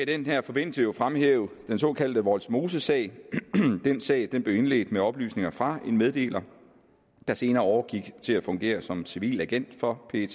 den her forbindelse jo fremhæve den såkaldte vollsmosesag den sag blev indledt med oplysninger fra en meddeler der senere overgik til at fungere som civil agent for pet